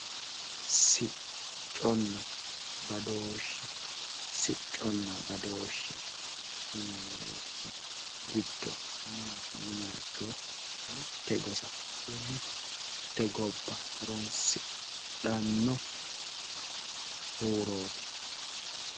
Sicconna badooshshe sicconna badooshshe yinannirichi giddo maati yiniha ikkiro mitte gosa woy mitte gobba horoonsidhanno huurooti